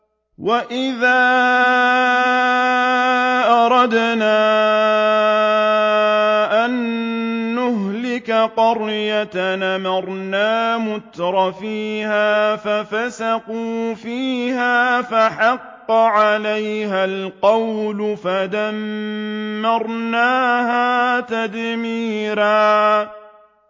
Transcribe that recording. وَإِذَا أَرَدْنَا أَن نُّهْلِكَ قَرْيَةً أَمَرْنَا مُتْرَفِيهَا فَفَسَقُوا فِيهَا فَحَقَّ عَلَيْهَا الْقَوْلُ فَدَمَّرْنَاهَا تَدْمِيرًا